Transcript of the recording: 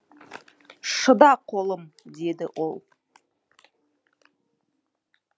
шыда қолым деді ол